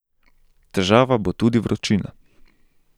Težava bo tudi vročina.